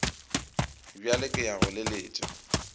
bjale ke ya go leletša